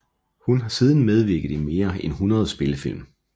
Hun har siden medvirket i mere end hundrede spillefilm